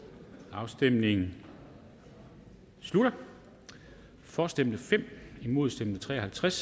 afstemningen slutter for stemte fem imod stemte tre og halvtreds